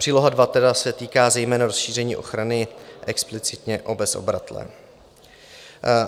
Příloha II tedy se týká zejména rozšíření ochrany explicitně o bezobratlé.